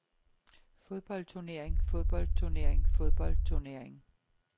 fodboldturnering fodboldturnering fodboldturnering